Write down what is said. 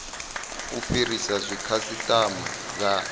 u fhirisa zwe khasitama dza